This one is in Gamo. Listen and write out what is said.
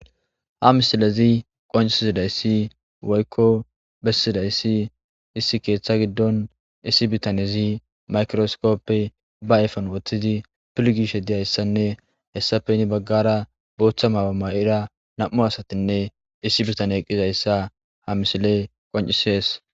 Ha misileza qoncisizayisi woyikko besizayisi issi keththa giddoni bitanezi mayikirosikope ba ayifeni wothidi piligishe dizayisanne hesapape ha bagara botha mayo nayida namu asatanne issi bitanneyi dizayissa ha misileyi qonccizesi